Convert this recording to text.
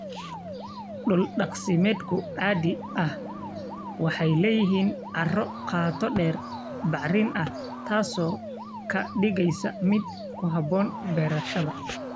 Dhul-daaqsimeedku caadi ahaan waxay leeyihiin carro qoto dheer, bacrin ah, taas oo ka dhigaysa mid ku habboon beerashada.